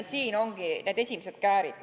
Siin ongi esimesed käärid.